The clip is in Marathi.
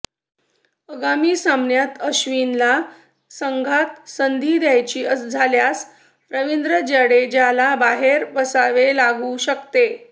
आगामी सामन्यात अश्विनला संघात संधी द्यायची झाल्यास रवींद्र जाडेजाला बाहेर बसावे लागू शकते